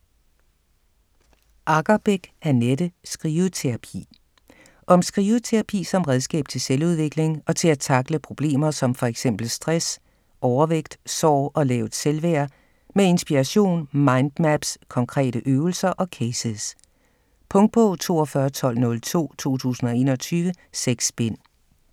Aggerbeck, Annette: Skriveterapi Om skriveterapi som redskab til selvudvikling og til at tackle problemer som fx stress, overvægt, sorg og lavt selvværd. Med inspiration, mind maps, konkrete øvelser og cases. Punktbog 421202 2021. 6 bind.